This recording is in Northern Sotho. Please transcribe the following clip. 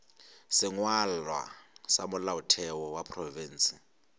sengwalwa sa molaotheo wa profense